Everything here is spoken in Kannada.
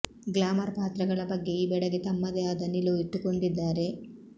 ಗ್ಲ್ಯಾಮರ್ ಪಾತ್ರಗಳ ಬಗ್ಗೆ ಈ ಬೆಡಗಿ ತಮ್ಮದೇ ಆದ ನಿಲುವು ಇಟ್ಟುಕೊಂಡಿದ್ದಾರೆ